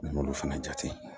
N m'olu fana jate